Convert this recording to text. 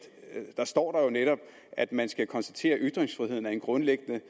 der står jo netop at man skal konstatere at ytringsfriheden er en grundlæggende